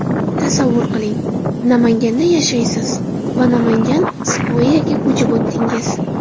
Tasavvur qiling, Namanganda yashaysiz va Namangan Square’ga ko‘chib o‘tdingiz.